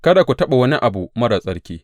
Kada ku taɓa wani abu marar tsarki!